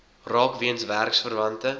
raak weens werksverwante